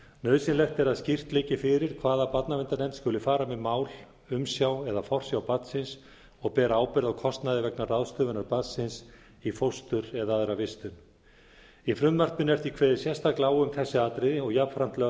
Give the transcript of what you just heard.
nauðsynlegt er að slíkt liggi fyrir hvaða barnaverndarnefnd skuli fara með mál umsjá eða forsjá barnsins og bera ábyrgð á kostnaði vegna ráðstöfunar barnsins í fóstur eða aðra vistun í frumvarpinu er því kveðið sérstaklega á um þessi atriði og jafnframt lögð